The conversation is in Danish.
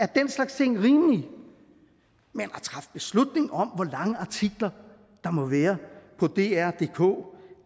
den slags ting rimelige men at træffe beslutning om hvor lange artikler der må være på drdk